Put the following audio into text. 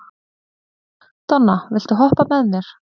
Donna, viltu hoppa með mér?